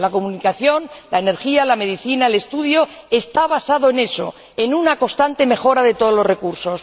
La comunicación, la energía, la medicina, el estudio, están basados en eso en una constante mejora de todos los recursos.